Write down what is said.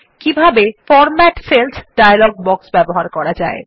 কিভাবে format cells dialog box ব্যবহার করা যায়